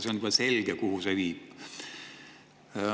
See on aga juba selge, kuhu see viib.